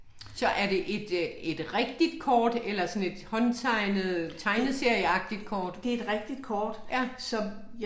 Så er det et øh et rigtigt kort eller sådan et håndtegnet tegneserieagtigt kort? Ja